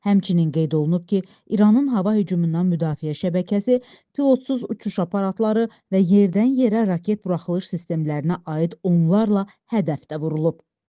Həmçinin qeyd olunub ki, İranın hava hücumundan müdafiə şəbəkəsi, pilotsuz uçuş aparatları və yerdən yerə raket buraxılış sistemlərinə aid onlarla hədəfdə vurulub.